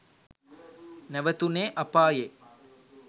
නැවතුනේ අපායෙ.